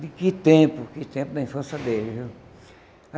tempo daquele tempo, da infância dele viu.